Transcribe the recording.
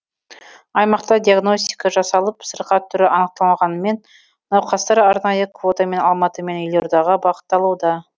аймақта диагностика жасалып сырқат түрі анықталғанымен науқастар арнайы квотамен алматы мен елордаға бағытталуда